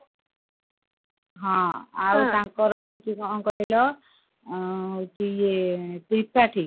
ହଁ ଆଉ ତାଙ୍କର ହଉଛି କଣ କହିଲ ଅ ହଉଛି ଇଏ ଏଁ ତ୍ରିପାଠୀ